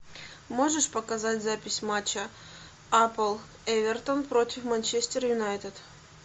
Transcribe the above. можешь показать запись матча апл эвертон против манчестер юнайтед